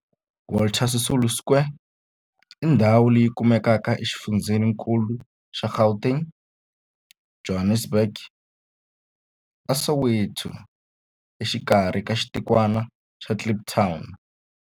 Walter Sisulu Square i ndhawu leyi kumekaka exifundzheni-nkulu xa Gauteng, Johannesburg, a Soweto, exikarhi ka xitikwana xa Kliptown.